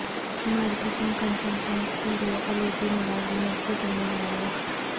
marketing consultants کے لئے کلیدی ملازمت کی ذمہ داریاں